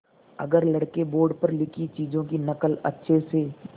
अगर लड़के बोर्ड पर लिखी चीज़ों की नकल अच्छे से